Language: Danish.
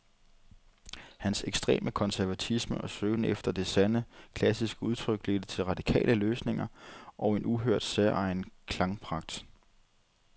Hans ekstreme konservatisme og søgen efter det sande, klassiske udtryk ledte til radikale løsninger og en uhørt, særegen klangpragt.